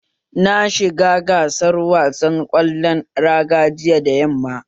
Na shiga gasar wasan ƙwallon raga jiya da yamma